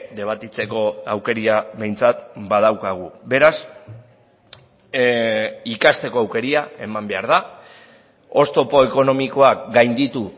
debatitzeko aukera behintzat badaukagu beraz ikasteko aukera eman behar da oztopo ekonomikoak gainditu